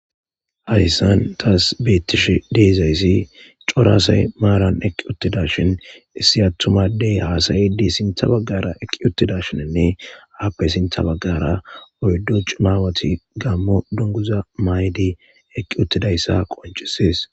hadissan taas beettish deezayssi corasay maaran eqqi uttida shin issi attumadey haasayidi sintha baggara eqqi uttida shininne aappe sintha baggara oyddo cumaawati gammo dunguza maydi eqqi uttidayssa qoncisies